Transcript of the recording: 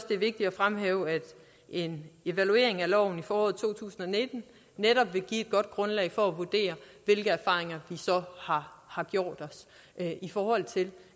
det er vigtigt at fremhæve at en evaluering af loven i foråret to tusind og nitten netop vil give et godt grundlag for at vurdere hvilke erfaringer vi så har har gjort os i forhold til